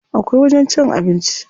Akwai wajen cin abinci.